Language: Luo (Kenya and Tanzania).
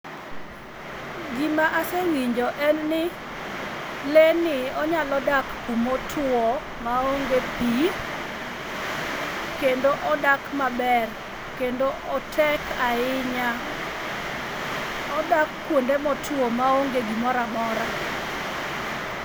Gimasewinjo en ni lee ni onyalo dak kuma otuo maonge pii kendo odak maber kendo otek ahinya. Odak kuonde motuo maonge gimoro amora.